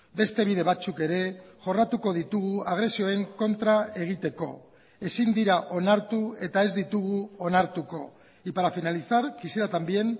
beste bide batzuk ere jorratuko ditugu agresioen kontra egiteko ezin dira onartu eta ez ditugu onartuko y para finalizar quisiera también